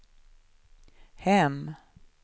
hem